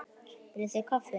Viljið þið kaffi?